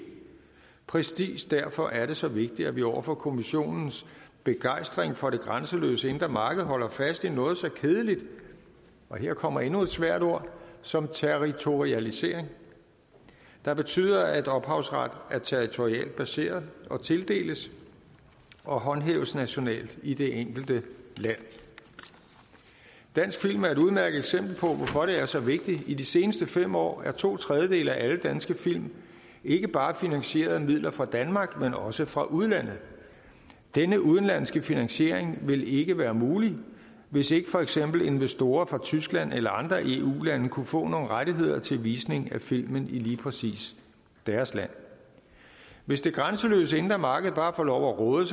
præcis derfor er det så vigtigt at vi over for kommissionens begejstring for det grænseløse indre marked holder fast i noget så kedeligt og her kommer endnu et svært ord som territorialisering der betyder at ophavsret er territorialt baseret og tildeles og håndhæves nationalt i det enkelte land dansk film er et udmærket eksempel på hvorfor det er så vigtigt i de seneste fem år er to tredjedele af alle danske film ikke bare finansieret af midler fra danmark men også fra udlandet denne udenlandske finansiering ville ikke være mulig hvis ikke for eksempel investorer fra tyskland eller andre eu lande kunne få nogle rettigheder til visning af filmen i lige præcis deres land hvis det grænseløse indre marked bare får lov at råde